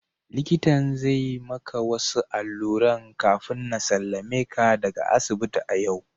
Likita zai maka wasu alluran kafina sallameka daga asibiti a yau.